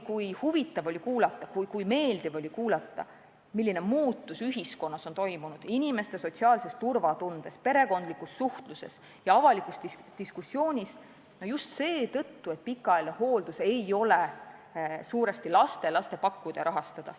Kui huvitav oli kuulata, kui meeldiv oli kuulata, milline muutus ühiskonnas on toimunud inimeste sotsiaalses turvatundes, perekondlikus suhtluses ja avalikus diskussioonis just seetõttu, et pikaajaline hooldus ei ole suuresti laste ja lastelaste pakkuda ja rahastada.